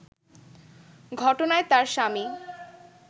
ঘটনায় তার স্বামী